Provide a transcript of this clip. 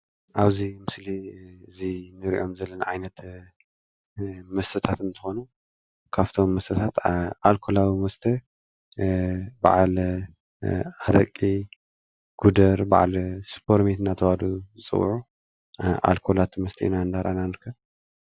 ኣብዚይ ምስሊ እዙይ እንሪእዮም ዘለና ዓይነታት መስተታት እንትኮኑ ካብቶም መስተረታት ኣልኮላዊ መስተ ባዓል ኣረቂ ፤ጉደር ባዓል ስፖርቤር እናተባህሉ ዝፅውዑ ኣልኮላት መስተ ኢና ንሪኢ ንርከብ።